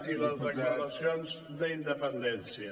i les declaracions d’independència